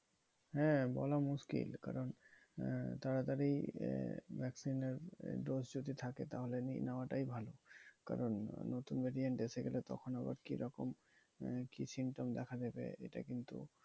হ্যাঁ বলা মুশকিল। কারণ আহ তাড়াতাড়ি আহ vaccine এর dose যদি থাকে তাহলে নিয়ে নেওয়াটাই ভালো। কারণ নতুন variant এসে গেলে তো আবার কি রকম মানে কি symptom দেখা দেবে? এটা কিন্তু